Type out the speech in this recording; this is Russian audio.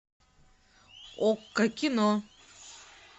окко кино